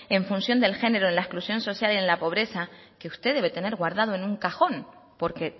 en función del género en la exclusión social y en la pobreza que usted debe tener guardado en un cajón porque